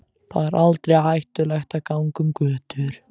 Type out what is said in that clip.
Þar er aldrei hættulegt að ganga um götur.